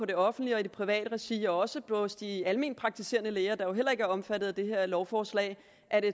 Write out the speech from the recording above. det offentlige og det private regi og også hos de almenpraktiserende læger der jo heller ikke er omfattet af det her lovforslag